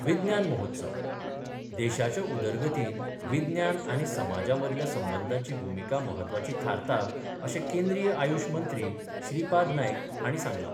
विज्ञान महोत्सव देशाच्या उदरगतीन विज्ञान आनी समाजां मदल्या संबंधांची भुमिका महत्वाची थारता अशें केंद्रीय आयुश मंत्री श्रीपाद नायक हांणी सांगलां.